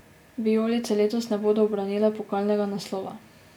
Vijolice letos ne bodo ubranile pokalnega naslova.